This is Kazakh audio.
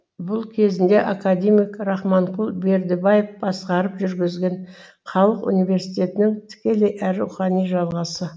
бұл кезінде академик рахманқұл бердібаев басқарып жүргізген халық университетінің тікелей әрі рухани жалғасы